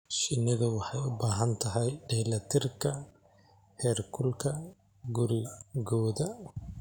Shinnidu waxay u baahan tahay dheellitirka heerkulka gurigooda.